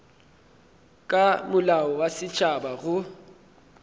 ka molao wa setšhaba go